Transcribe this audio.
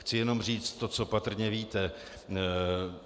Chci jenom říct to, co patrně víte.